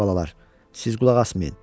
Ay balalar, siz qulaq asmayın.